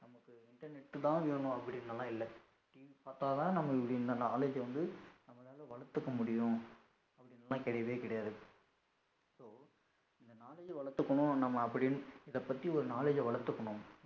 Internet தான் வேணும் அப்படிலாம் இல்லை TV பாத்தாதான் நம்ம முடியும் இந்த knowledge வந்து நம்மலாள வளத்துக்க முடியும் அப்படிலாம் கெடயவே கெடயாது, so இந்த knowledge வளத்துகனும் நம்ம அப்படினு இதபத்தி ஒரு knowledge வளத்துகனும்